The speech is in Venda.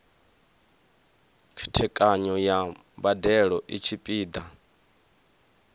khethekanyo ya mbadelo i tshipiḓa